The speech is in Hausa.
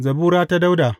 Zabura ta Dawuda.